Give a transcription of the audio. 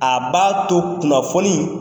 A b'a to kunnafɔni